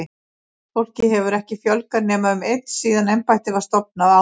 Starfsfólki hefur ekki fjölgað nema um einn síðan embættið var stofnað, árið